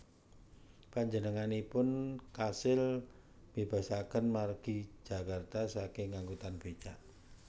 Panjenenganipun kasil mbébasaken margi Jakarta saking angkutan bécak